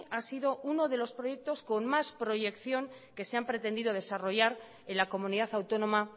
ha sido uno de los proyectos con mas proyección que se han pretendido desarrollar en la comunidad autónoma